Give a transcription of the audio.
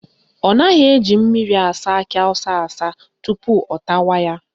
Ọ naghị eji mmiri asa akị awụsa asa tupu ọ tawa ya